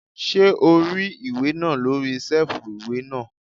Ṣé o rí ìwé náà lórí sẹ́ẹ̀fù ìwé náà?